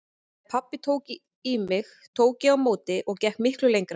Ef pabbi tók í mig tók ég á móti og gekk miklu lengra.